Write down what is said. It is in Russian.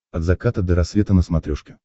от заката до рассвета на смотрешке